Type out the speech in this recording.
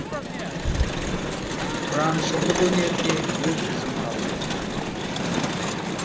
тұраншылдық өнерде де өз ізін қалдырды